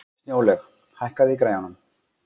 Snjólaug, hækkaðu í græjunum.